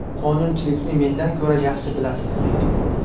Qonunchilikni mendan ko‘ra yaxshi bilasiz!